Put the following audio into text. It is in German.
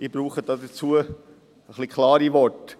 Ich brauche dazu etwas klare Worte.